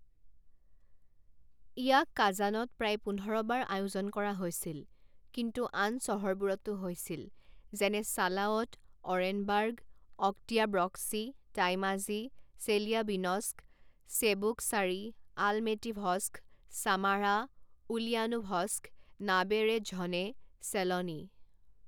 ইয়াক কাজানত প্ৰায় পোন্ধৰ বাৰ আয়োজন কৰা হৈছিল, কিন্তু আন চহৰবোৰতো হৈছিল, যেনে Salavat, Orenburg, Oktyabrsky, Tuymazy, Chelyabinsk, Cheboksary, Almetyevsk, Samara, Ulyanovsk, Naberezhnye চেলনি।